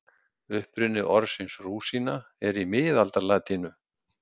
Uppruni orðsins rúsína er í miðaldalatínu.